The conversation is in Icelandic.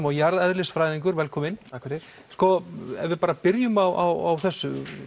og jarðeðlisfræðingur velkominn takk fyrir ef við bara byrjum á þessu